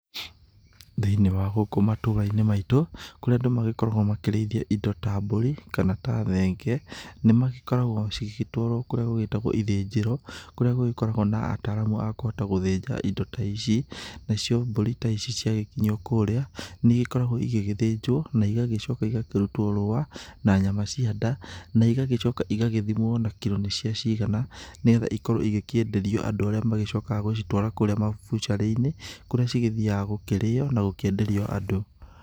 Thĩ-inĩ wa gũkũ matũra-inĩ maitũ, kũria andũ magĩkoragwo makĩrĩithia indo ta mbũri kana ta thenge nĩ magĩkoragwo cigĩgĩtwarwo kũrĩa gũgĩtagwo ithĩnjĩro kũrĩa gũgĩkoragwo na ataramu a kũhota gũthĩnja indo ta ici, nacio mbũri ta ici ciagĩkinyio kũria, nĩ igĩkoragwo igĩgĩthĩnjwo na igacoka igakĩrutwo rũa na nyama cia nda, na igagĩcoka igagĩthimwo na kiro nĩcia cigana, nĩgetha ikorwo igĩkĩenderio andũ arĩa magĩcokaga gũcitwara kũrĩa mabucarĩ-inĩ, kũrĩa cigĩthiaga gũkĩrĩo na gũkĩenderio andũ.